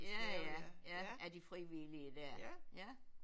Ja ja ja af de frivillige der ja